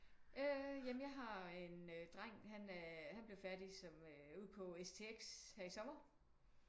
Øh jamen jeg har en dreng han blev færdig som øh ude på STX her i sommer